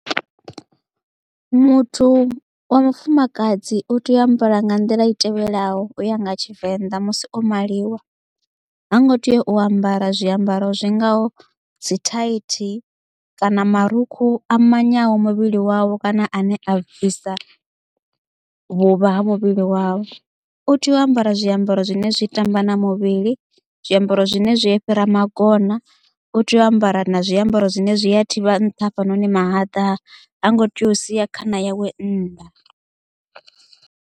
Muthu wa mufumakadzi u tea u ambara nga nḓila i tevhelaho uya nga tshivenḓa musi o maliwa ha ngo tea u ambara zwiambaro zwi ngaho dzi thaithi kana marukhu a manyaho muvhili wavho kana ane a bvisa vhuvha ha muvhili wawe. U tea u ambara zwiambaro zwine zwi tamba na muvhili zwiambaro zwine zwi fhira magona u tea u ambara na zwiambaro zwine zwi ya thivha nṱha ha fhanoni mahaḓa ha ngo tea u sia khana yawe nnḓa.